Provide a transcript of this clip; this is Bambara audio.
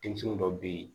Denmisɛnnin dɔ bɛ yen